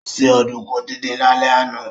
Ó se ọ̀dùnkún díndín lálẹ́ àná